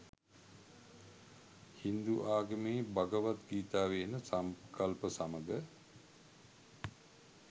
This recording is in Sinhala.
හින්දු ආගමේ භගවත් ගීතාවේ එන සංකල්ප සමග